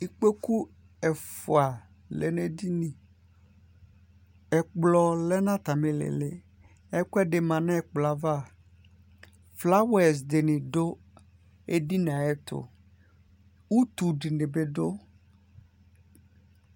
Ikpoku ɛfua lɛ nu edini yɛ Ɛkplɔ lɛ nu atami lili Ɛkuɛ di ma nu ɛkplɔ yɛ ava Flawɛz dini du edini yɛ ayɛtu Utu dini bi du